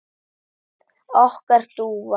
Okkar dúfa?